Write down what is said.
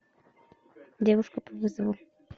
девушка по вызову